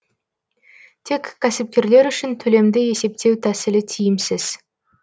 тек кәсіпкерлер үшін төлемді есептеу тәсілі тиімсіз